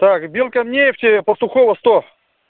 так белкамнефть пастухова сто